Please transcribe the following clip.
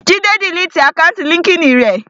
Jídé diliti àkáùntì líńki-inì rẹ̀